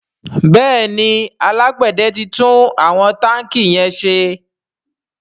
Béèni alágbède tí tún àwọn tanki yén ṣe.